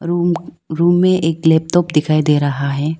Room room में एक laptop दिखाई दे रहा है।